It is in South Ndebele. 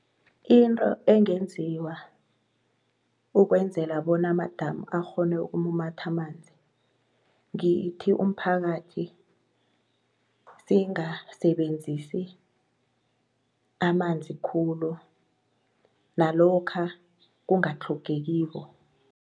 Into engenziwa ukwenzela bona amadamu akghone ukumumatha amanzi ngithi umphakathi singasebenzisi amanzi khulu nalokha kungatlhogekiko.